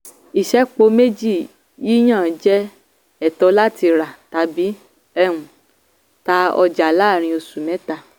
ìṣẹ́po méjì yíyàn jẹ́ ẹ̀tọ́ láti rà tàbí um tá ọjà láàrín oṣù mẹ́ta.